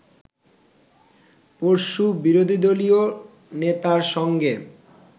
পরশু বিরোধীদলীয় নেতার সঙ্গে